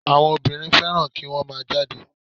Àwọn obìnrin fẹ́ràn kí wọ́n má a jáde